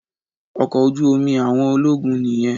Ọkọ̀ ojú omi àwọn ológun nìyẹn